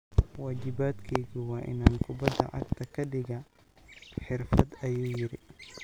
"Waajibaadkaygu waa inaan kubadda cagta ka dhigaa xirfad," ayuu yiri.